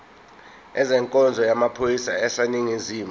ezenkonzo yamaphoyisa aseningizimu